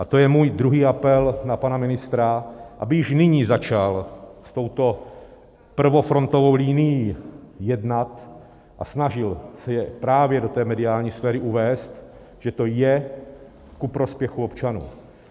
A to je můj druhý apel na pana ministra, aby již nyní začal s touto prvofrontovou linií jednat a snažil se i právě do té mediální sféry uvést, že to je ku prospěchu občanů.